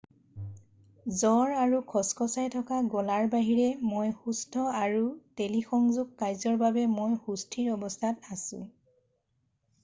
"""জ্বৰ আৰু খচখচাই থকা গলাৰ বাহিৰে মই সুস্থ আৰু টেলিসংযোগ কাৰ্যৰ বাবে মই সুস্থিৰ অৱস্থাত আছোঁ।""